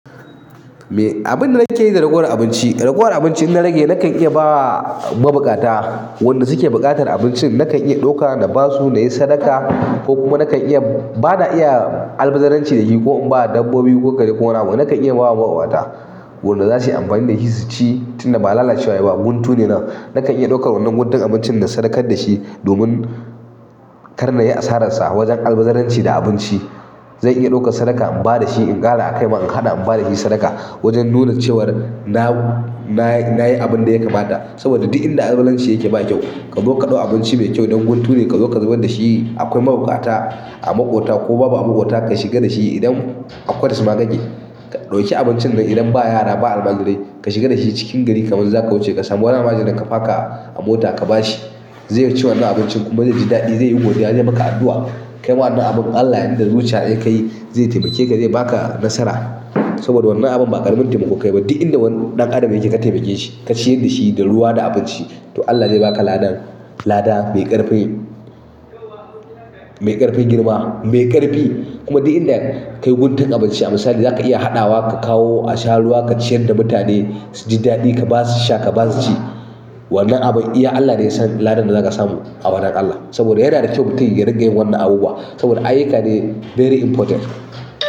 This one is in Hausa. Me, abun da nake yi da ragowar abinci, ragowar abinci in na rage nakan iya ba ma buƙata, wanda suke buƙatar abincin, nakan iya ɗauka na ba su na yi sadaka ko kuma nakan iya, ba na iya albazaranci da shi ko in ba dabbobi ko kare ko wani abu. Nakan iya ba wa mabuƙata wanda za su yi amfani da shi, su ci tunda ba lalacewa ne ba, guntu ne nan. Nakan iya ɗaukar wannan guntun abincin na sadakar da shi domin kar na yi asararsa wajen albazaranci da abinci. Zan iya ɗaukar sadaka in ba da shi, in ƙara a kai ma in ƙara in ba da shi sadaka wajen nuna cewar na-na-nayi abin da ya kamata. Saboda duk inda albazaranci yake ba kyau, ka zo ka ɗau abinci mai kyau dan guntu ne ka zo ka zubar da shi. Akwai mabuƙata a maƙwabta ko ma baka da shi, idan har da shima yake. Ka ɗauki abincin nan idan ba yara ba almajirai, ka shiga da shi cikin gari kamar zaka wuce ka samu wannan almajirin ka faka a mota ka ba shi. Zai ci wannan abincin kuma zai ji daɗi, zai yi godiya, zai yi maka addu'a. Kai ma wannan abun Allah, inda zuciya aka yi, zai taimake ka, zai ba ka nasara. Saboda wannan abin ba ƙaramin taimako kayi ba, duk inda wani ɗan adam yake ka taimake shi, ka ciyar da shi da ruwa da abinci, to Allah zai ba ka ladan, lada mai ƙarfi, mai ƙarfin girma, mai ƙarfi. Kuma duk inda ka yi guntun abinci, a misali zaka iya haɗawa ka kawo a sha ruwa ka ciyar da mutane su ji daɗi ka ba su sha ka ba su ci. Wannan abin iya Allah ne ya san ladan da zaka samu a wurin Allah. Saboda yana da kyau mutum ya ringa yin wannan abubuwa. Saboda ayyuka ne, very important.